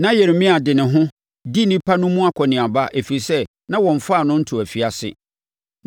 Na Yeremia de ne ho, di nnipa no mu akɔneaba, ɛfiri sɛ na wɔmfaa no ntoo afiase.